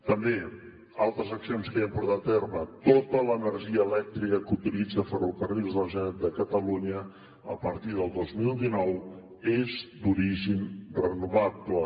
també altres accions que ja hem portat a terme tota l’energia elèctrica que utilitza ferrocarrils de la generalitat de catalunya a partir del dos mil dinou és d’origen renovable